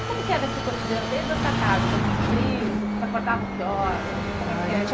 E como que era esse cotidiano, desde a sua casa, com esses primos, vocês acordavam que horas? Ah, a gente acor